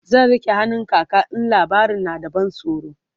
zan rike hannun kaka in labarin na da ban tsoro